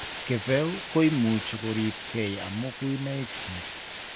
Kipeu koimuchei kuripkei om kuinoik chichi.